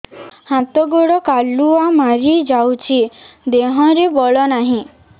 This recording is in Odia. ହାତ ଗୋଡ଼ କାଲୁଆ ମାରି ଯାଉଛି ଦେହରେ ବଳ ନାହିଁ